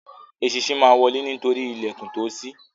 Eṣinṣin má wọle nítorí ìlèkùn tíó sí.